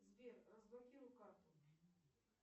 сбер разблокируй карту